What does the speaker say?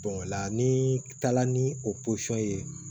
o la ni taara ni o ye